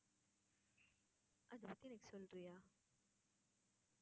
அதை பத்தி, எனக்கு சொல்றியா